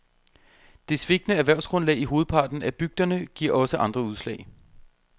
Det svigtende erhvervsgrundlag i hovedparten af bygderne giver også andre udslag.